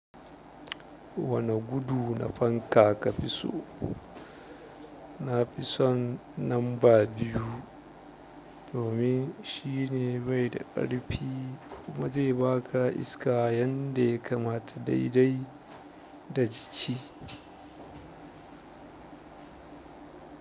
Wane gudu na fanka ka fi so? Na fi son namba biyu, domin shi ne bai da ƙarfi kuma zai ba ka iska yadda ya kamata daidai da jiki.